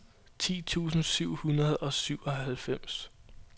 ti tusind syv hundrede og syvoghalvfems